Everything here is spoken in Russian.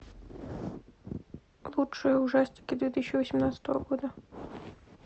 лучшие ужастики две тысячи восемнадцатого года